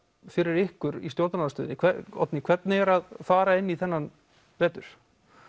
fyrir ykkur í stjórnarandstöðunni Oddný hvernig er að fara inn í þennan vetur